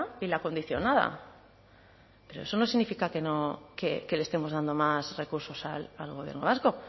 y la condicionada pero eso no significa que no que le estemos dando más recursos al gobierno vasco